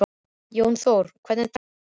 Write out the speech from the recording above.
Jónþór, hvernig er dagskráin?